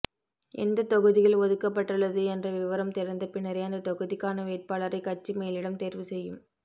எந்த தொகுதிகள் ஒதுக்கப்பட்டுள்ளது என்ற விவரம் தெரிந்த பின்னரே அந்த தொகுதிக்கான வேட்பாளரை கட்சி மேலிடம் தேர்வு செய்யும்